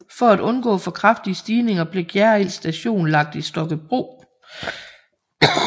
For at undgå for kraftige stigninger blev Gjerrild Station lagt i Stokkebro